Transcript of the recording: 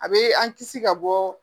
A bɛ an kisi ka bɔ